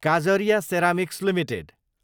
Kajaria ceramics Ltd